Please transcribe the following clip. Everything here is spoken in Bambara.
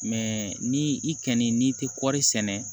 ni i kanni n'i tɛ kɔri sɛnɛ